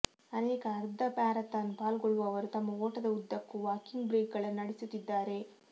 ಅನೇಕ ಅರ್ಧ ಮ್ಯಾರಥಾನ್ ಪಾಲ್ಗೊಳ್ಳುವವರು ತಮ್ಮ ಓಟದ ಉದ್ದಕ್ಕೂ ವಾಕಿಂಗ್ ಬ್ರೇಕ್ಗಳನ್ನು ನಡೆಸುತ್ತಿದ್ದಾರೆ